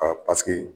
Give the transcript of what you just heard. paseke